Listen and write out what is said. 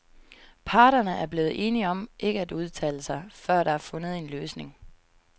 Parterne er blevet enige om ikke at udtale sig, før der er fundet en løsning.